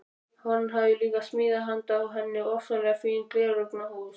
Hann hafði líka smíðað handa henni ofsalega fín gleraugnahús.